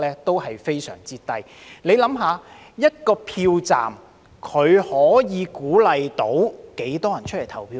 大家想一想，一個票站可以鼓勵多少人出來投票呢？